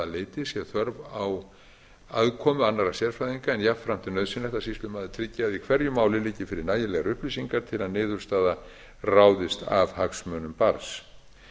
sé þörf á aðkomu annarra sérfræðinga en jafnframt er nauðsynlegt að sýslumaður tryggi að í hverju máli liggi fyrir nægilegar upplýsingar til að niðurstaða ráðist af hagsmunum barns